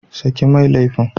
Saki mai laifin!